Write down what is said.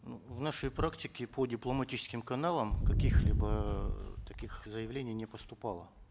ну в нашей практике по дипломатическим каналам каких либо э таких заявлений не поступало